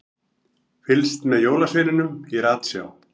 Fylgst með jólasveininum í ratsjá